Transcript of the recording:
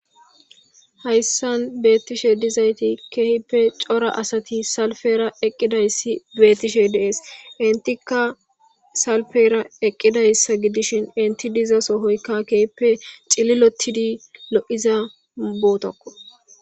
Haysan bettishshe dizaytti ke'ippe corra assati salpera eqidayssi bettishshe de'ees entikka salpera eqidayssa gidishshin entti diza sohoyikka kehippe cilottidi diza bottakko